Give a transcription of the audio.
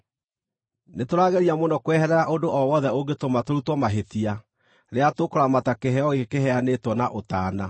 Nĩtũrageria mũno kweherera ũndũ o wothe ũngĩtũma tũrutwo mahĩtia rĩrĩa tũkũramata kĩheo gĩkĩ kĩheanĩtwo na ũtaana.